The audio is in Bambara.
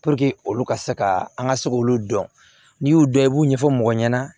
olu ka se ka an ka se k'olu dɔn n'i y'u dɔn i b'u ɲɛfɔ mɔgɔ ɲɛna